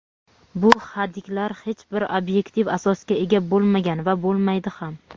Bu hadiklar hech bir obyektiv asosga ega bo‘lmagan va bo‘lmaydi ham.